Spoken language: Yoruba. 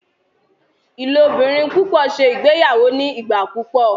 ilobirin pupọ ṣe ìgbéyàwó ní igbà púpọ